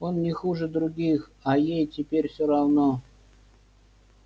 он не хуже других а ей теперь всё равно